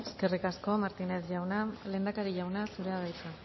eskerrik asko martínez jauna lehendakari jauna zurea da hitza